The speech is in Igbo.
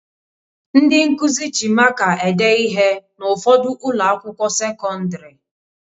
Ndị nkụzi ji maka ede ihe n'ụfọdụ ụlọakwụkwọ sekọndịrị